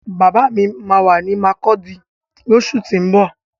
Bàbá mi máa wà ní makurdi lósù tín bọ̀